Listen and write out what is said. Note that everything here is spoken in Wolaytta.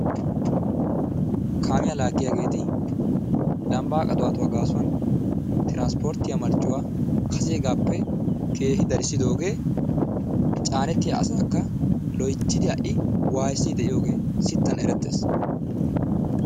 Kaamiya laaggiyageeti lambbaa qaxiwatuwa gaasuwan tiranpporttiya marccuwa kaseegaappe keehi darissidoogee caanettiya asaakka loyttidi ha"i waayissiiddi de'iyogee sinttan erettees.